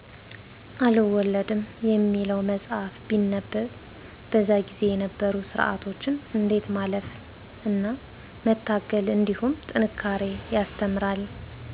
አልወለድም የሚለው መፃህፍት ቢነበብ በዛ ጊዜ የነበሩ ስርዓቶችን እንዴት ማለፍ እና መታገል እንድሁም ጥንካሬ ያስተምራል።